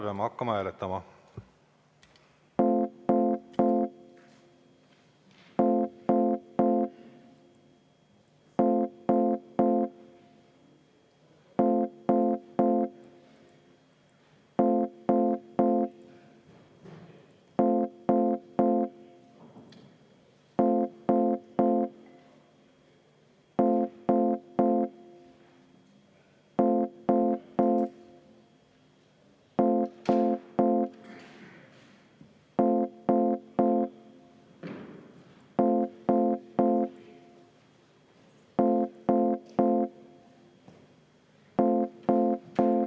Peame hakkama seda hääletama.